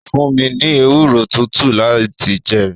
ó fún mi ní ewúro tútù láti jẹ.